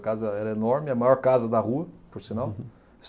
A casa era enorme, a maior casa da rua, por sinal.